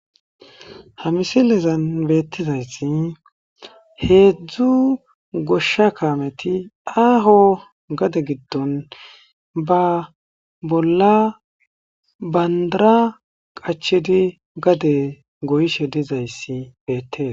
ha misilezan beettizayssi heedzdzu goshsha kaameti aaho gade giddon ba bolla bandara qachedi gade goyshe dizayssi beettes